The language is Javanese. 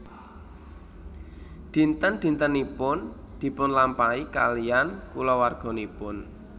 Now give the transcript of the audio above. Dinten dintenipun dipunlampahi kaliyan kulawarganipun